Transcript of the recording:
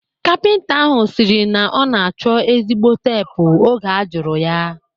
Kapịnta ahụ sịrị na ọ na-achọ ezigbo teepu oge a jụrụ ya